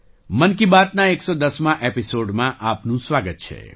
મન કી બાતના 11૦મા એપિસૉડમાં આપનું સ્વાગત છે